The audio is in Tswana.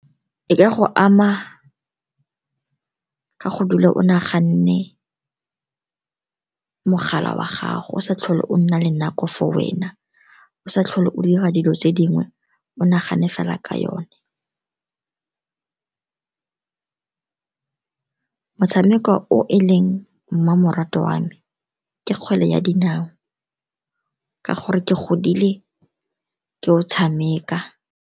E ka go ama ka go dula o naganne mogala wa gago o sa tlhole o nna le nako for wena, o sa tlhole o dira dilo tse dingwe, o nagane fela ka yone. Motshameko o e leng mmamoratwa wa me ke kgwele ya dinao, ka gore ke godile ke o tshameka.